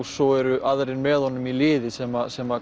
svo eru aðrir með honum í liði sem sem